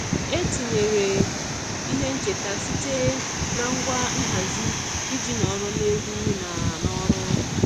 E tinyere ihe ncheta site na ngwa nhazi iji nọrọ n'egwu na n'ọrụ.